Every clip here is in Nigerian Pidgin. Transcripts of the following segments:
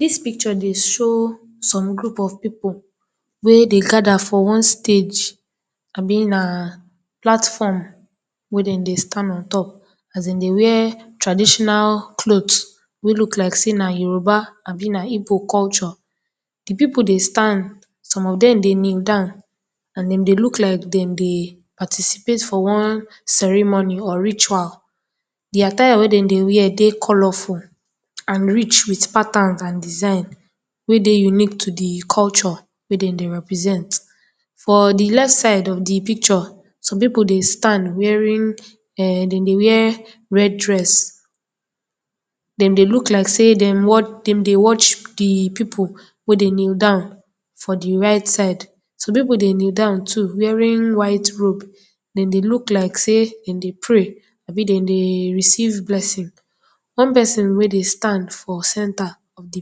Dis picture dey show some group of people wey dey gather for one stage abi na platform wey dem dey stand on top as in dey wear traditional cloth wey look like say na yoruba abi na igbo culture. Di people dey stand, some of dem dey kneel down and dem dry look like dem dey participate for one ceremony or ritual. Di attire wey dem dey wear dey colourful and rich with patterns and design wey dey unique to di culture wey dem dey represent, for the left side of the picture of some people dey stand wearing um dem dey wear red dress, dem dry look like say dem dey watch di people wey dey kneel down for the right side, some people dey kneel down too wearing white robe, dem dey look like say dem dey pray abi dem dey receive blessing. One person wey dey stand for center of the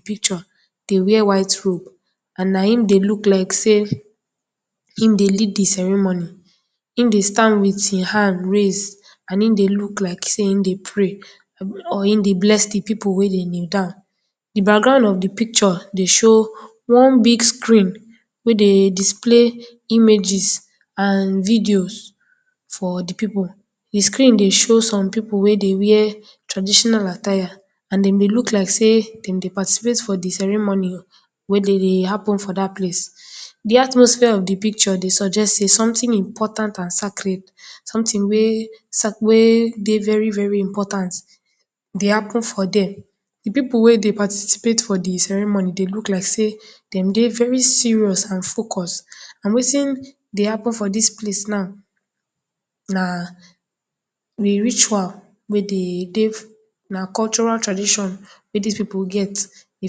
picture dey wear white robe and na him dey look like say e dey lead di ceremony, him dry stand with e hand raise and he dey look like say him dey pray or him dey bless di people wey dey kneel down. Di background of di picture dey show one big screen wey dey display images and videos for the people, di screen fry show some people wey dey wear traditional attire and dem dey look like say dem dey participate for the ceremony wey dey happen for dat place. Di atmosphere of di picture dey suggest say something important and sackled, something wey scak wey dey very very important dey happen for día, di people wey participate for di ceremony dey look like say dem dey very serious and focus and wetin dey happen for dis place now na di ritual wey dey dey, na cultural tradition wey dis people get, dey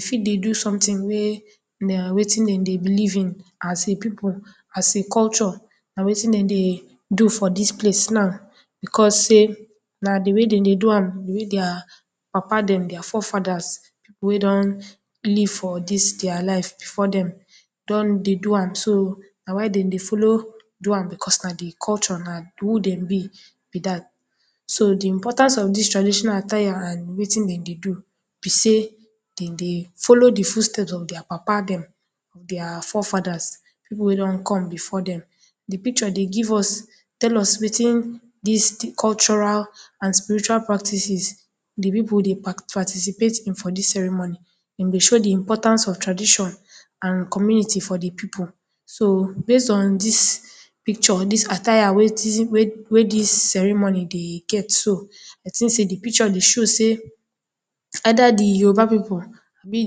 for dey do something wey na wetin dem dey believe in as a people, as a culture na wetin dem dey do for dis place now because say na di way dem dey do am, di way día papá dem, día forefathers wey don live for día life before dem don dey do am so na why dem dey follow do am cos na di culture, na who dem bí bí dat. So di important of dis attire wey dem dey do bí say dem dey follow di footstep of dia Papa dem, dia forefathers, people wey don come before dem, di picture dey give us, tell us wetin dis cultural and spiritual practices di people dey participate in for dis ceremony, e dey show di importance of tradition and community for di people so base on dis picture, dis attire wey dis ceremony dey get so I think say the picture dey show say either di Yoruba people abi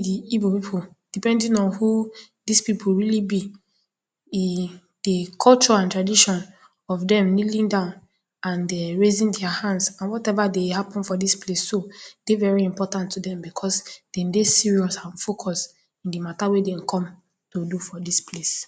di igbó people depending on who did people really bi, e, di culture and tradition of dem kneeling down and um raising día hand and whatever dey happen for dis place dey very important to dem because dem dey serious and focus in di matter wey dey come to do for dis place.